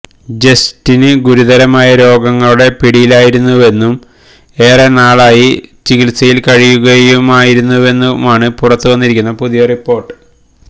Justin ഗുരുതരമായ രോഗങ്ങളുടെ പിടിയിലായിരുന്നുവെന്നും ഏറെ നാളായി ചികിത്സയില് കഴിയുകയുമായിരുന്നുവെന്നുമാണ് പുറത്ത് വന്നിരിക്കുന്ന പുതിയ റിപ്പോര്ട്ട്